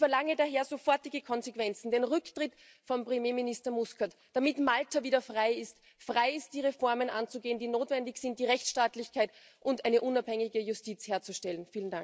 Ich verlange daher sofortige Konsequenzen, den Rücktritt von Premierminister Muscat, damit Malta wieder frei ist, die Reformen anzugehen, die notwendig sind, die Rechtsstaatlichkeit und eine unabhängige Justiz herzustellen.